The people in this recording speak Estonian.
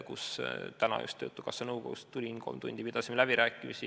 Täna just töötukassa nõukogust tulin, kolm tundi pidasime läbirääkimisi.